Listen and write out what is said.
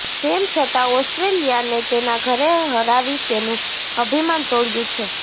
તેમ છતાં ઓસ્ટ્રેલિયાને તેના ઘરે હરાવી તેનું અભિમાન તોડ્યું છે